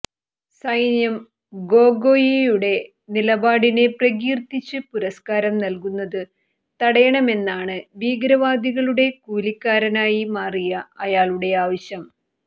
സൈന്യം ഗോഗോയിയുടെ നിലപാടിനെ പ്രകീര്ത്തിച്ച് പുരസ്കാരം നല്കുന്നത് തടയണമെന്നാണ് ഭീകരവാദികളുടെ കൂലിക്കാരനായി മാറിയ അയാളുടെ ആവശ്യം